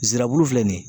Nsɛrɛbulu filɛ nin ye